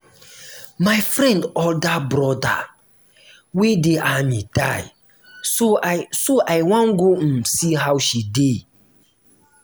my friend older broda wey dey army die so i so i wan go um see how she dey